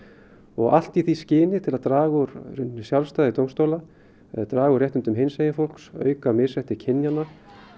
og allt í því skyni til að draga úr sjálfstæði dómstóla eða draga úr réttindum hinsegin fólks auka misrétti kynjanna